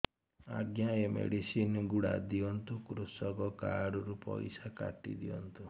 ଆଜ୍ଞା ଏ ମେଡିସିନ ଗୁଡା ଦିଅନ୍ତୁ କୃଷକ କାର୍ଡ ରୁ ପଇସା କାଟିଦିଅନ୍ତୁ